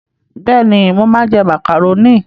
Bẹ́ẹ̀ni, mo máa ń jẹ màkàrónì.